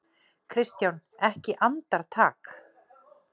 KRISTJÁN: Ekki andartak?